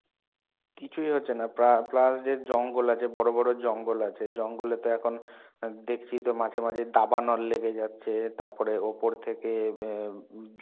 কিছুই হচ্ছে না প্রা plus যে জঙ্গল আছে বড় বড় জঙ্গল আছে জঙ্গলে তো এখন দেখছি তো মাঝে মাঝে দাবানল লেগে যাচ্ছে. তারপরে ওপর থেকে এম